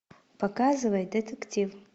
показывай детектив